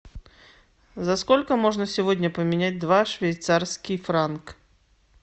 за сколько можно сегодня поменять два швейцарский франк